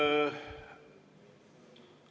Nüüd ...